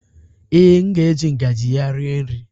Ee, m ga-eji ngaji ya rie nri